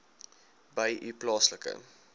by u plaaslike